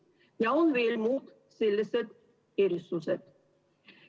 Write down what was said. Ja on veel muud sellised erisused.